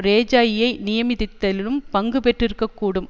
ரேஜாயியை நியமித்ததிலும் பங்கு பெற்றிருக்க கூடும்